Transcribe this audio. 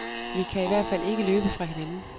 Vi kan i hvert fald ikke løbe fra hinanden.